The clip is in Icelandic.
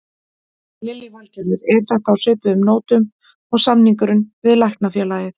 Lillý Valgerður: Er þetta á svipuðum nótum og samningurinn við Læknafélagið?